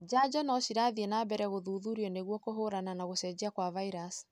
Janjo nocirathi na mbere gũthuthurio nĩguo kũhũrana na gũcenjia kwa vairasi.